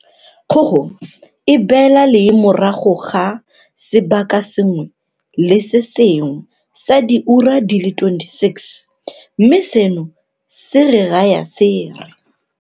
Kgogo e beela lee morago ga sebaka se sengwe le se sengwe sa diura di le 26, mme seno se re raya se re.